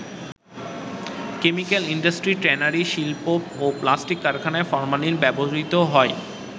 Chemical industry, tannery শিল্প ও plastic কারখানায় ফরমালিন ব্যবহৃত হয়।